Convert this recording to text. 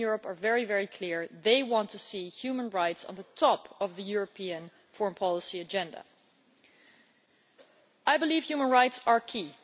People in Europe are very clear that they want to see human rights at the top of the European foreign policy agenda. I believe that human rights are key.